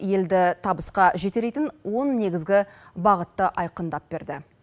елді табысқа жетелейтін негізгі бағытты айқындап берді